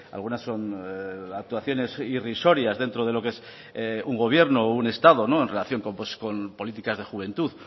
algunas son actuaciones irrisorias dentro de lo qué es un gobierno o un estado en relación con políticas de juventud